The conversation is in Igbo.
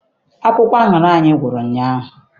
Akwụkwọ aṅara anyị gwụrụ ụnyaahụ.